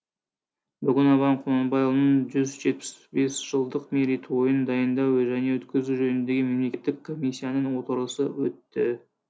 бүгін абай құнанбайұлының жүз жетпіс бес жылдық мерейтойын дайындау және өткізу жөніндегі мемлекеттік комиссияның отырысы өтті